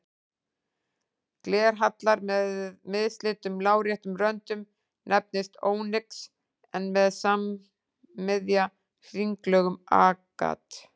Glerhallar með mislitum láréttum röndum nefnist ónyx en með sammiðja hringlögum agat.